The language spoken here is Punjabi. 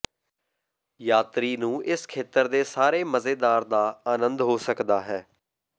ਯਾਤਰੀ ਨੂੰ ਇਸ ਖੇਤਰ ਦੇ ਸਾਰੇ ਮਜ਼ੇਦਾਰ ਦਾ ਆਨੰਦ ਹੋ ਸਕਦਾ ਹੈ